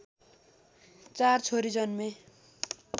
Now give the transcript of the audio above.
४ छोरी जन्मे